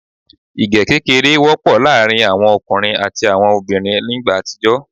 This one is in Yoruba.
Igẹ kékeré wọ́pọ̀ láàrin àwọn ọkùnrin àti àwọn obìnrin ní igbá àtijọ́